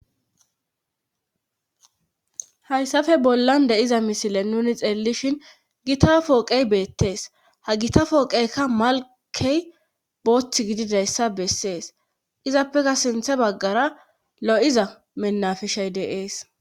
Hayssafe bollan de'iza misile nuni xeellishin gita pooqey beettees ha gita fooqeykka malkey boothth gididayssa bessees izappeka sinthe baggara lo'iza mennafishay deees.